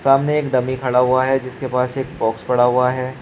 सामने एक डमी खड़ा हुआ है जिसके पास एक बॉक्स पड़ा हुआ है।